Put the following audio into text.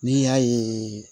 N'i y'a ye